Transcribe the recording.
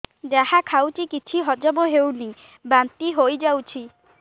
ଯାହା ଖାଉଛି କିଛି ହଜମ ହେଉନି ବାନ୍ତି ହୋଇଯାଉଛି